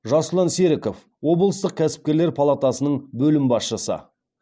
жасұлан серіков облыстық кәсіпкерлер палатасының бөлім басшысы